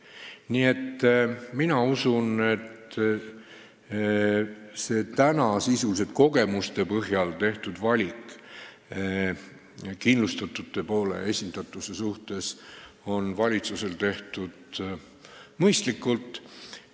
Nii et mina usun, et see täna sisuliselt kogemuste põhjal tehtud valik kindlustatute esindatuse suhtes on valitsusel tehtud mõistlikult.